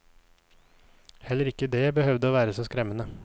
Heller ikke det behøvde å være så skremmende.